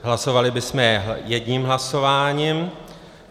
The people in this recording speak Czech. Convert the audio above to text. Hlasovali bychom je jedním hlasováním.